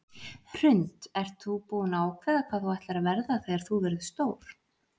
Hrund: Ert þú búin að ákveða hvað þú ætlar að verða þegar þú verður stór?